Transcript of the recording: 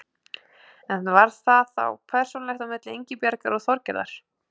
En var það þá persónulegt á milli Ingibjargar og Þorgerðar?